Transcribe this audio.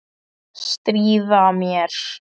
Stríða mér.